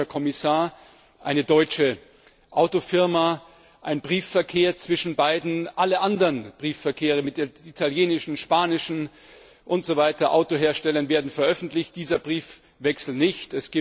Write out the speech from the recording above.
Ein deutscher Kommissar, eine deutsche Autofirma, ein Briefverkehr zwischen beiden, alle anderen Briefverkehre mit italienischen, spanischen und anderen Autoherstellern werden veröffentlicht, dieser Briefwechsel nicht.